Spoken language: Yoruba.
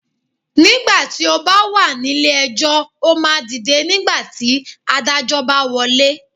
Nígbà tí ó bá wà nílé ejọ́, ó máa dìde nígbà tí Adájọ́ bá wọlé.